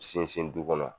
Sinsin du kɔnɔ